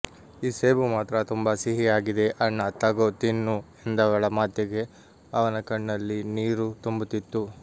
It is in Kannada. ಈ ಸೇಬು ಮಾತ್ರ ತುಂಬಾ ಸಿಹಿಯಾಗಿದೆ ಅಣ್ಣ ತಗೋ ತಿನ್ನು ಎಂದವಳ ಮಾತಿಗೆ ಅವನ ಕಣ್ಣಲ್ಲಿ ನೀರು ತುಂಬುತಿತ್ತು